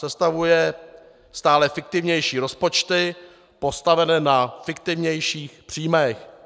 Sestavuje stále fiktivnější rozpočty postavené na fiktivnějších příjmech.